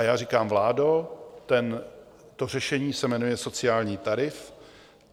A já říkám: Vládo, to řešení se jmenuje sociální tarif.